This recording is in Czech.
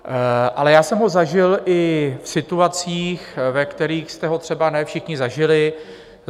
Ale já jsem ho zažil i v situacích, ve kterých jste ho třeba ne všichni zažili.